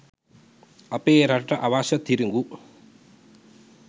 අපේ රටට අවශ්‍ය තිරිඟු